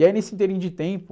E aí nesse ínterim de tempo,